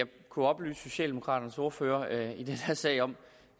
kunne oplyse socialdemokraternes ordfører i den her sag om